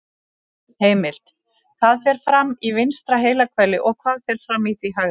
Heimild: Hvað fer fram í vinstra heilahveli og hvað fer fram í því hægra?